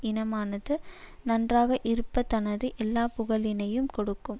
இனமானது நன்றாக இருப்பதானது எல்லா புகழினையும் கொடுக்கும்